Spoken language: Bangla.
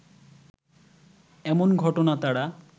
এমন ঘটনা তারা